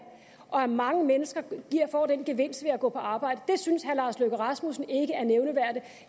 og at mange mennesker får den gevinst ved at gå på arbejde det synes herre lars løkke rasmussen ikke er nævneværdigt